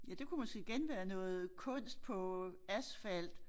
Ja det kunne måske igen være noget kunst på asfalt